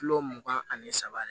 Kilo mugan ani saba de